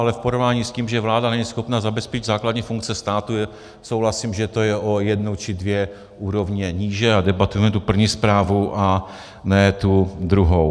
Ale v porovnání s tím, že vláda není schopna zabezpečit základní funkce státu, souhlasím, že to je o jednu či dvě úrovně níže, a debatujeme tu první zprávu a ne tu druhou.